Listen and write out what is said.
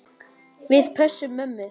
Við pössum mömmu.